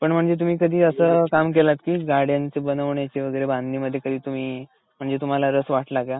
पण तुम्ही कधी असं काम केलत कि गाड्यांचं बनवण्याची बांधणी मध्ये कधी तुम्ही, म्हणजे तुम्हाला रस वाटला का?